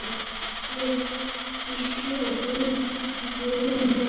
Gísli og Guðrún Björg.